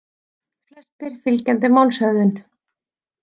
Flestir fylgjandi málshöfðun